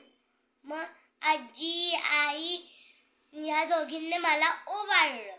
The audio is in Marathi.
मग आज्जी, आई ह्या दोघींनी मला ओवाळलं